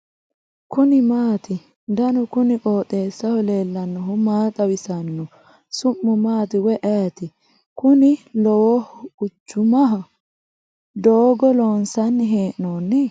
kuni maati ? danu kuni qooxeessaho leellannohu maa xawisanno su'mu maati woy ayeti ? kuni lowohu quchumao ? doogo loonsanni hee'noonni ?